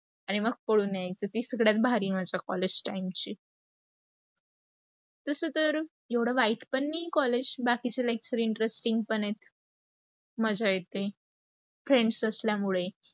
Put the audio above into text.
आणी मग पळून यायच ती सगळ्यात भारी माणस collage time ची. तस तर, एवढ वाईट पण नाही collage, बाकीच् lectures interesting पण आहेत. मज्जा येते, friends असल्यामुळे.